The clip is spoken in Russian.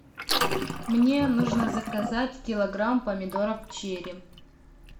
мне нужно заказать килограмм помидоров черри